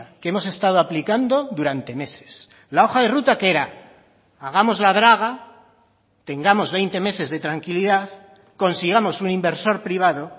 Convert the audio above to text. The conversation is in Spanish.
que hemos estado aplicando durante meses la hoja de ruta que era hagamos la draga tengamos veinte meses de tranquilidad consigamos un inversor privado